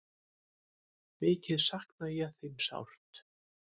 Mikið sakna ég þín sárt.